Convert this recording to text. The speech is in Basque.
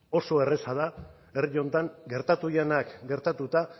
oso erraza da herri honetan gertatu direnak gertatuta